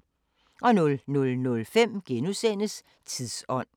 00:05: Tidsånd *